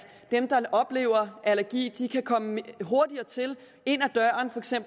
dem der oplever at have allergi kan komme hurtigere til